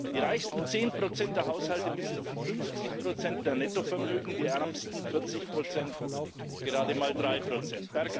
Die reichsten zehn Prozent der Haushalte besitzen 50 Prozent der Nettovermögen die ärmsten 40 Prozent gerade mal drei Prozent.